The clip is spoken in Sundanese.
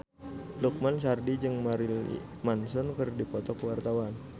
Lukman Sardi jeung Marilyn Manson keur dipoto ku wartawan